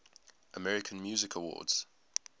american music awards